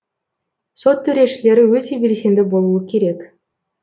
сот төрешілері өте белсенді болуы керек